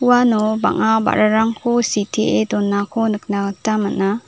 uano bang·a ba·rarangko sitee donako nikna gita man·a.